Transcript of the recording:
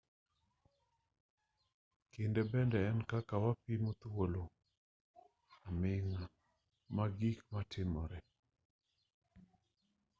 kinde bende en kaka wapimo thuolo aming'a mag gik matimore